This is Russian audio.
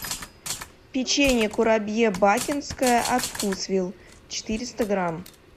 печенье курабье бакинское от вкусвилл четыреста грамм